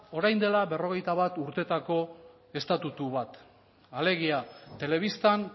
orain dela berrogeita bat urteetako estatutu bat alegia telebistan